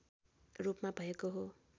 रूपमा भएको हो